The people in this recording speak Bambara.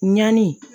Ɲani